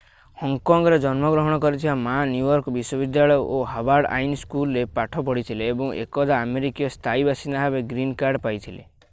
ହଙ୍ଗକଙ୍ଗରେ ଜନ୍ମଗ୍ରହଣ କରିଥିବା Ma New York ବିଶ୍ଵବିଦ୍ୟାଳୟ ଓ ହାର୍ଭାର୍ଡ ଆଇନ ସ୍କୁଲରେ ପାଠ ପଢ଼ିଥିଲେ ଏବଂ ଏକଦା ଆମେରିକାର ସ୍ଥାୟୀ ବାସିନ୍ଦା ଭାବେ ଗ୍ରୀନ୍ କାର୍ଡ ପାଇଥିଲେ